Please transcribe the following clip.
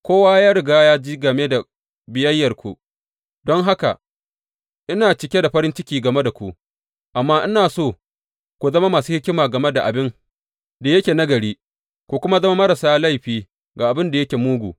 Kowa ya riga ya ji game da biyayyarku, don haka ina cike da farin ciki game da ku; amma ina so ku zama masu hikima game da abin da yake nagari, ku kuma zama marasa laifi ga abin da yake mugu.